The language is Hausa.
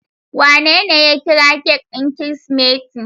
Wanene ya kira cake ɗin Kirsimeti?